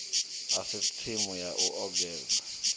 a si tsimu ya ugobela